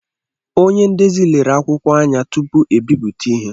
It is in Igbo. Onye ndezi lere akwụkwọ anya tupu ebipụta ihe